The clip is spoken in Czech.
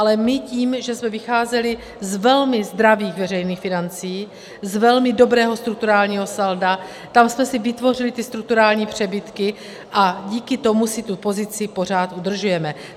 Ale my tím, že jsme vycházeli z velmi zdravých veřejných financí, z velmi dobrého strukturálního salda, tam jsme si vytvořili ty strukturální přebytky a díky tomu si tu pozici pořád udržujeme.